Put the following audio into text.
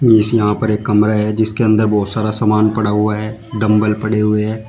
जिसमें यहां पर एक कमरा है जिसके अंदर बहुत सारा सामान पड़ा हुआ है डंबल पड़े हुए हैं।